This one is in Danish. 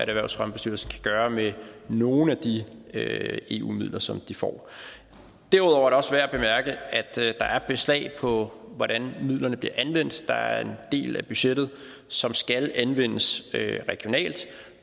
erhvervsfremmebestyrelse kan gøre med nogle af de eu midler som de får derudover er det også værd at bemærke at der er beslag på hvordan midlerne bliver anvendt der er en del af budgettet som skal anvendes regionalt